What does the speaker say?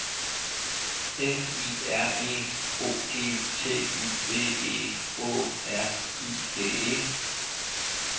F I R E O G T Y V E Å R I G E